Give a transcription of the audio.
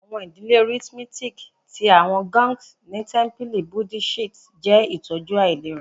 Awọn idile rhythmic ti awọn gongs ni tẹmpili Buddhist jẹ itọju ailera